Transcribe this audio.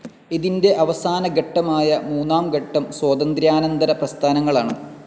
ഇതിന്റെ അവസാന ഘട്ടമായ മൂന്നാം ഘട്ടം സ്വാതന്ത്ര്യാനന്തര പ്രസ്ഥാനങ്ങളാണ്.